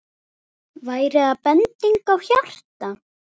Væri það bending á hjarta?